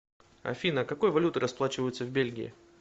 афина какой валютой расплачиваются в бельгии